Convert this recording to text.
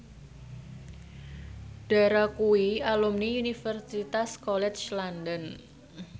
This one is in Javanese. Dara kuwi alumni Universitas College London